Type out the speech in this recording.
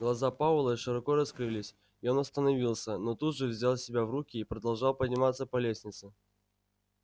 глаза пауэлла широко раскрылись и он остановился но тут же взял себя в руки и продолжал подниматься по лестнице